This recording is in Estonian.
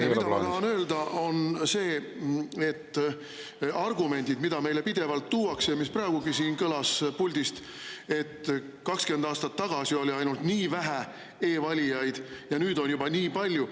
Aga mida ma tahan öelda, on see, et üks argument, mida meile pidevalt tuuakse ja mis praegugi siin puldist kõlas, on, et 20 aastat tagasi oli ainult nii vähe e-valijaid ja nüüd on juba nii palju.